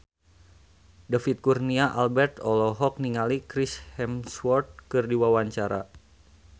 David Kurnia Albert olohok ningali Chris Hemsworth keur diwawancara